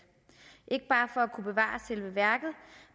ikke bare for at kunne bevare selve værket